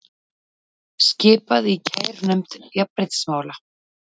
Skipað í kærunefnd jafnréttismála